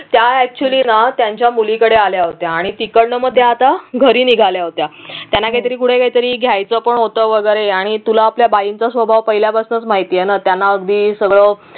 त्या actually ना त्यांच्या मुलीकडे आल्या होत्या आणि तिकडन मग त्या आता घरी निघाल्या होत्या त्यांना काही तरी पुढे काहीतरी घ्यायचं पण होतं वगैरे आणि तूला आपल्या बाईंचा स्वभाव पहिल्यापासून माहिती आहे ना त्यांना अगदी सगळं